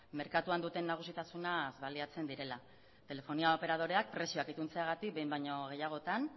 merkatuan duten nagusitasunaz baliatzen direla telefonia operadoreak prezioak ipintzeagatik behin baino gehiagotan